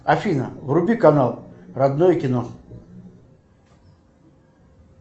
афина вруби канал родное кино